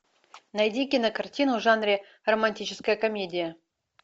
найди кинокартину в жанре романтическая комедия